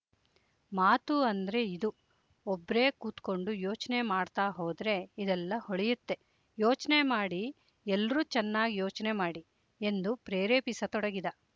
ಮಾತು ಅಂದ್ರೆ ಇದು ಒಬ್ರೇ ಕೂತ್ಕಂಡು ಯೋಚ್ನೆ ಮಾಡ್ತಾ ಹೋದ್ರೆ ಇದೆಲ್ಲ ಹೊಳಿಯುತ್ತೆ ಯೋಚ್ನೆ ಮಾಡಿ ಎಲ್ರೂ ಚನ್ನಾಗ್ ಯೋಚ್ನೆ ಮಾಡಿ ಎಂದು ಪ್ರೇರೇಪಿಸಿತೊಡಗಿದ